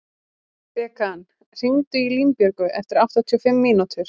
Bekan, hringdu í Línbjörgu eftir áttatíu og fimm mínútur.